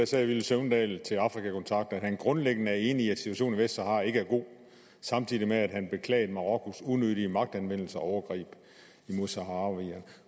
sagde villy søvndal til afrika kontakt at han grundlæggende er enig i at situationen i vestsahara ikke er god samtidig med at han beklagede marokkos unødige magtanvendelse og overgreb mod saharawierne